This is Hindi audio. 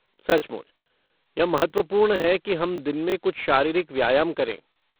सचमुच, यह महत्वपूर्ण है कि हम दिन में कुछ शारीरिक व्यायाम करें।